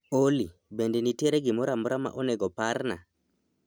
Olly, bende nitiere gimoro amora ma onego oparna